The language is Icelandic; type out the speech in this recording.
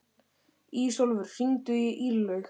Ísólfur, hringdu í Irlaug.